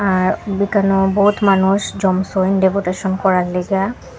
আর বেখানো বহুত মানুষ জমসয়ে ডেপুটেশন করার লেইগ্যা।